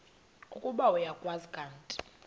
ukuba uyakwazi kanti